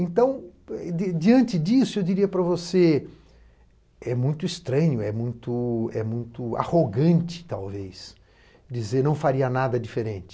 Então, diante disso, eu diria para você, é muito estranho, é muito arrogante, talvez, dizer que não faria nada diferente.